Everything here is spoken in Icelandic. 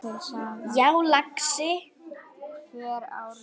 Já, lagsi.